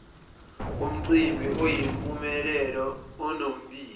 komcimbi oyimpumelelo onombiko